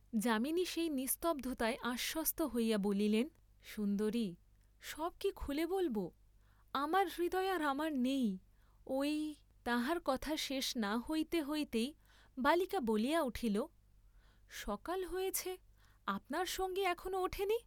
যামিনী সেই নিস্তব্ধতায় আশ্বস্ত হইয়া বলিলেন সুন্দরি, সব কি খুলে বলব, আমার হৃদয় আর আমার নেই, ঐ, তাহার কথা শেষ না হইতে হইতে বালিকা বলিয়া উঠিল, সকাল হয়েছে, আপনার সঙ্গী এখনো ওঠেনি।